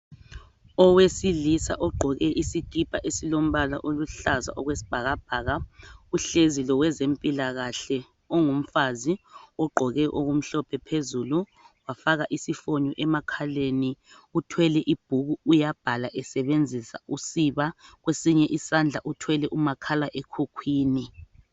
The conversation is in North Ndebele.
Owelisa ogqoke isikipa esilombala oluhlaza okwesibhakabhaka uhlezi loweze mpilakahle ongumfazi ogqoke okumhlophe phezulu wafaka isifonyo emakhaleni uthwele ibhuku uyabhala esebenzisa usiba kwesinye isandla uthwele umakhala ekhukhwini.